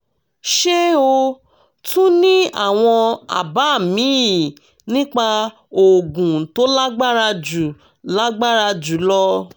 ṣé o tún ní àwọn àbá míì nípa oògùn tó lágbára jù lágbára jù lọ?